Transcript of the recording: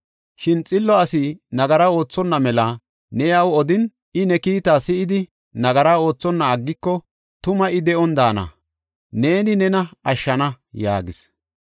Shin xillo asi nagaraa oothonna mela ne iyaw odin, I ne kiita si7idi, nagara oothonna aggiko, tuma I de7on daana; neeni nena ashshana” yaagis.